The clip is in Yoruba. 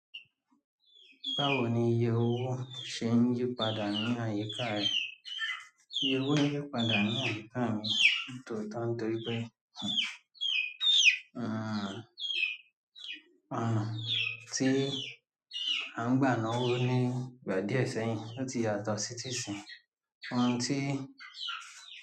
Báwo ni iye owó ṣe ń yípadà nínú àyíká rẹ̀? Iye owó ń yípadà nínú àyíká mi nítorí pé, àn, àn, tí à ń gbà ná owó ní ìgbà díẹ̀ sẹ́yìn, ó ti yàtọ̀ sí tíì sin. Àn tí.